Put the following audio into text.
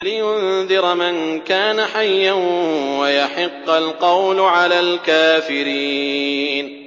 لِّيُنذِرَ مَن كَانَ حَيًّا وَيَحِقَّ الْقَوْلُ عَلَى الْكَافِرِينَ